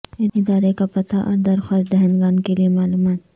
ادارے کا پتہ اور درخواست دہندگان کے لئے معلومات